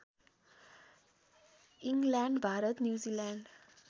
England Bharat New Zealand